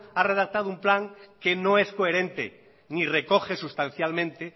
ha redactado un plan que no es coherente ni recoge sustancialmente